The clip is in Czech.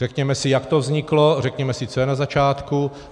Řekněme si, jak to vzniklo, řekněme si, co je na začátku.